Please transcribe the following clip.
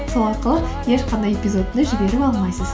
сол арқылы ешқандай эпизодты жіберіп алмайсыз